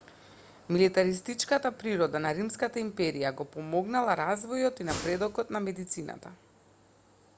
милитаристичката природа на римската империја го помогнала развојот и напредокот на медицината